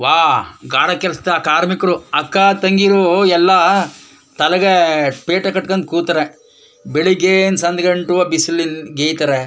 ವಾಹ್ ಗಾರೆ ಕೆಲಸ ಕಾರ್ಮಿಕ್ರು ಅಕ್ಕತಂಗಿರು ಎಲ್ಲಾ ತಲೆಗ್ ಪೇಟೆ ಕಟ್ಕಂಡ್ ಕೂತ್ರೆ ಬೆಳಗ್ಗೆಯಿಂದ ಸಂಜ್ ಗಂಟಾವಾ ಬಿಸ್ಲಲ್ಲಿ ಗೆಯ್ತರೆ .